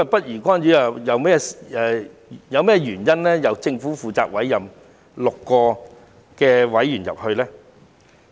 如果政府是不宜干預的話，為何政府要委任6名成員加入註冊局呢？